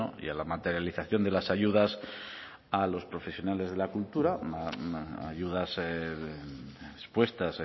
y a la materialización de las ayudas a los profesionales de la cultura ayudas expuestas